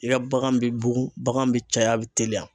I ka bagan bɛ bugun, bagan bɛ caya, a bɛ teliya